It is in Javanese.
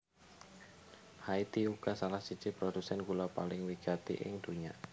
Haiti uga salah siji produsèn gula paling wigati ing donya